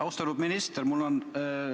Austatud minister!